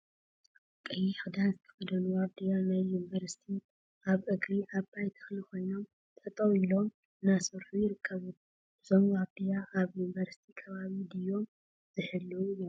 ቀይሕ ክዳን ዝተከደኑ ዋርድያ ናይ ዩኒቨርሲቲ አበ እግሪ ዓባይ ተክሊ ኮይኖም ጠጠው ኢሎም እናሰርሑ ይርከቡ፡፡ እዞም ዋርድያ አብ ዩኒቨርሲቲ ከባቢ ድዮም ዝሕልወ ዘለው?